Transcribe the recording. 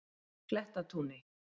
Klettatúni